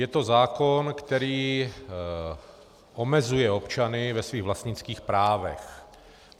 Je to zákon, který omezuje občany v jejich vlastnických právech.